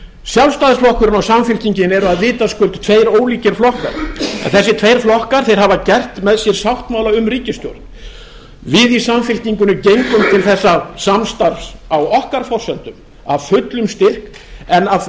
sjálfstæðisflokkurinn og samfylkingin eru vitaskuld tveir ólíkir flokkar en þessir tveir flokkar hafa gert með sér sáttmála um ríkisstjórn við í samfylkingunni gengum til þessa samstarfs á okkar forsendum af fullum styrk en af